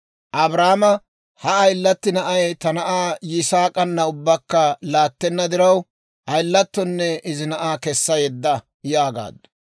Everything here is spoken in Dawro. Abrahaama, «Ha ayilatti na'ay ta na'aa Yisaak'ana ubbakka laattenna diraw, ayilatonne izi na'aa kessa yedda» yaagaaddu.